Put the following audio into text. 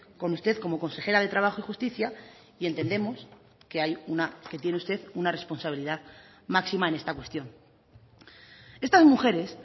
con usted como consejera de trabajo y justicia y entendemos que tiene usted una responsabilidad máxima en esta cuestión estas mujeres